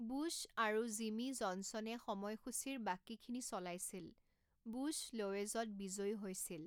Bush আৰু Jimmy জনছনে সময়সূচীৰ বাকীখিনি চলাইছিল, বুশ্ব লোৱেজত বিজয়ী হৈছিল।